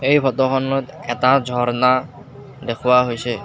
এই ফটো খনত এটা ঝৰ্ণা দেখুওৱা হৈছে।